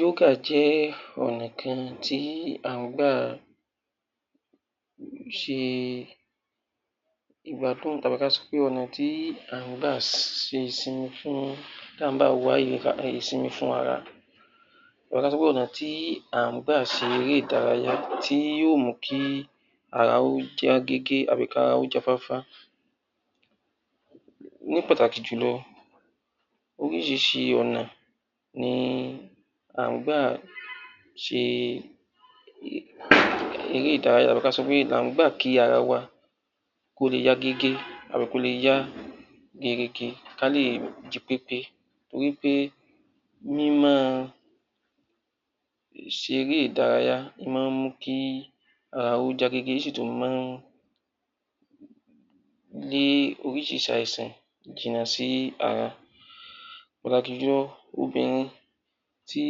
Yoga jẹ́ ọ̀nà kan tí à ń gbà ṣe ìgbádùn tàbí ká sọ pé ọ̀nà kan tí à ń gba ṣe ìsinmi fún, tí à ń gbà wá ìsinmi fún ara, tàbí ká sọ pé ọ̀nà tí à ń gbà ṣe eré ìdárayá tí yó mú kí ara ó já gégé tàbí ara ó jáfáfá. Ní pàtàkì jù lọ, oríṣiríṣi ọ̀nà ni à ń gbà ṣe eré ìdárayá tàbí ká sọ pé là ń gbà kí ara wa kó lè yá gégé tàbi kó lè yá gerege ká lè jí pépé torí pé mí máa ṣe eré ìdárayá máa ń mú kí ara ó já gégé, ó sì tún máa ń lé oríṣiríṣi àìsàn jìnnà sí ara pàtàkì jù lọ obìnrin tí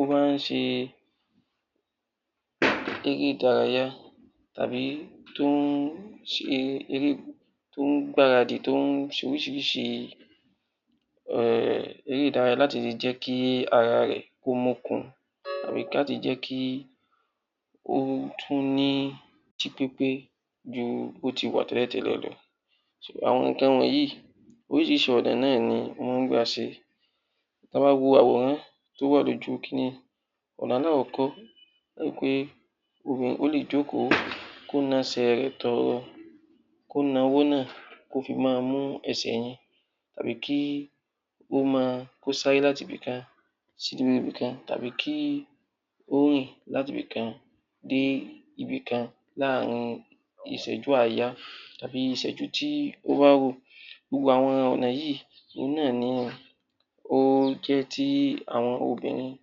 ó bá ń ṣe eré ìdárayá tàbí tó ń gbáradì, tó ń ṣe oríṣiríṣi eré ìdárayá láhti lè jẹ́ kí ara rẹ̀ kó mókun àbí láti jẹ́ kí ó tún jí pépé ju bí ó ti wà tẹ́lẹ̀tẹ́lẹ̀ lọ. Àwọn nǹkan wọ̀nyí oríṣiríṣi ọ̀nà náà ni wọ́n gbà ṣe. Tí a bá wo àwòrán tó wà ní ojú kiní, àwòrán alákọ̀ọ́kọ́, ẹ ó ri wí pé obìnrin yẹn ó lè jókòó kó na ẹsẹ̀ rẹ̀ tọọrọ, kó na ọwọ́ náà kó fi máa mú ẹsẹ̀ yẹn, tàbí kó sáré láti ibi kan sí ibi kan, tàbí kí ó rìn láti ibi kan dé ibi kan láàrin ìṣẹ́jú àáyá tàbí ìṣẹ́jú tí ó bá rò. Gbogbo àwọn ọ̀nà yìí, òun náà ni ó jẹ́ tí àwọn obìnrin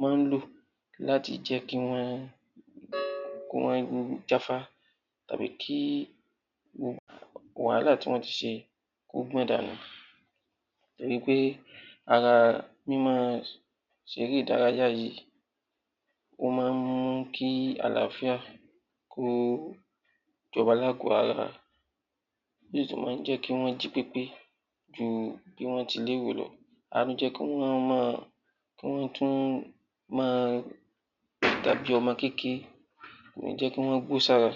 máa ń lò láti jẹ́ kí wọ́n jáfáfá tàbí wàhálà tí wọ́n ti ṣe kó gbọ̀n dànù torí pé ara mí máa ṣe eré ìdárayá yìí ó máa ń mú kí àláfíà kó jọba lágbò ara, eléyìí tó máa ń jẹ́ kí wọ́n jí pépé ju bí wọ́n ti lérò lọ um kí wọ́n tún máa dàbí ọmọ kékeré, kò ní jẹ́ kí wọ́n gbó sára